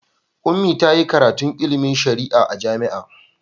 Ummi ta yi karatun ilimin shari'a a jami'a.